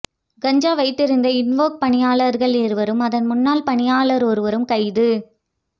கஞ்சா வைத்திருந்த இன்வோக் பணியாளர்கள் இருவரும் அதன் முன்னாள் பணியாளர் ஒருவரும் கைது